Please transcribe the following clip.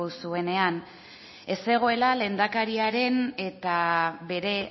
zuenean ez zegoela lehendakariaren eta bere